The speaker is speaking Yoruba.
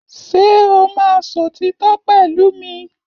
Ṣé o máa sòtítọ́ pẹ̀lú mi?